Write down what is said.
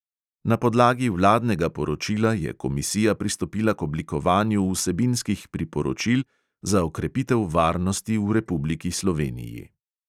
Na podlagi vladnega poročila je komisija pristopila k oblikovanju vsebinskih priporočil za okrepitev varnosti v republiki sloveniji.